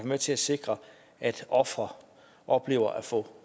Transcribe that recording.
med til at sikre at ofre oplever at få